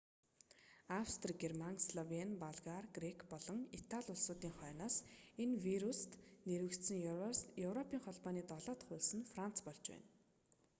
австри герман словень болгар грек болон италь улсуудын хойноос энэ вируст вируст нэрвэгдсэн европын холбооны долоо дох улс нь франц болж байна